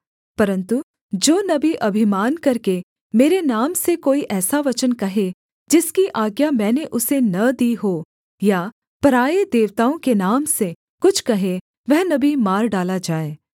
परन्तु जो नबी अभिमान करके मेरे नाम से कोई ऐसा वचन कहे जिसकी आज्ञा मैंने उसे न दी हो या पराए देवताओं के नाम से कुछ कहे वह नबी मार डाला जाए